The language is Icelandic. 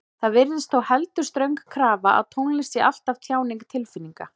Það virðist þó heldur ströng krafa að tónlist sé alltaf tjáning tilfinninga.